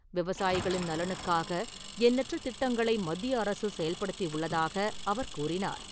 விவசாயிகளின் நலனுக்காக எண்ணற்ற திட்டங்களை மத்திய அரசு செயல்படுத்தி உள்ளதாக அவர் கூறினார்.